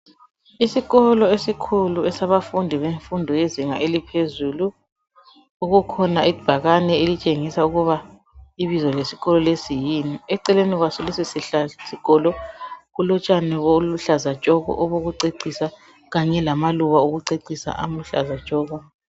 Isikolo esikhulu esabafundi bemfundo yezinga eliphezulu, kukhona ibhakane elitshengisa ukuba ibizo lesikolo lesi yini. Eceleni kwaso, leso sihla sikolo, kulotshani obuluhlaza tshoko, obokucecisa, kunye lamaluba okucecisa aluhlaza tshoko.